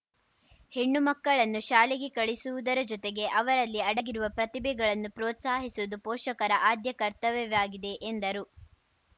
ಹೆಣ್ಣು ಮಕ್ಕಳನ್ನು ಶಾಲೆಗೆ ಕಳುಹಿಸುವುದರ ಜೊತೆಗೆ ಅವರಲ್ಲಿ ಅಡಗಿರುವ ಪ್ರತಿಭೆಗಳನ್ನು ಪ್ರೋತ್ಸಾಹಿಸುವುದು ಪೋಷಕರ ಆದ್ಯ ಕರ್ತವ್ಯವಾಗಿದೆ ಎಂದರು